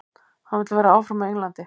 Hann vill vera áfram á Englandi.